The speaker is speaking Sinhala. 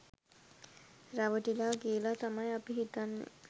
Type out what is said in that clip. රැවටිලා කියලා තමයි අපි හිතන්නේ.